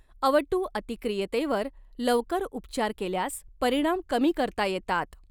अवटु अतिक्रियतेवर लवकर उपचार केल्यास परिणाम कमी करता येतात.